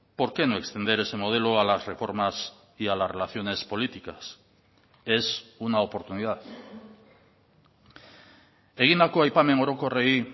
por qué no extender ese modelo a las reformas y a las relaciones políticas es una oportunidad egindako aipamen orokorrei